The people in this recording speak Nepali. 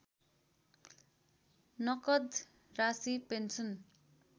नकद राशि पेन्सन